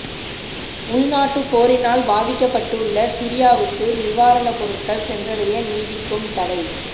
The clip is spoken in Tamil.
உள்நாட்டுப் போரினால் பாதிக்கப் பட்டுள்ள சிரியாவுக்கு நிவாரணப் பொருட்கள் சென்றடைய நீடிக்கும் தடை